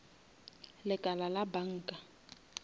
lekala la banka